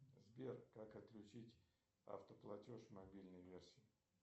сбер как отключить автоплатеж в мобильной версии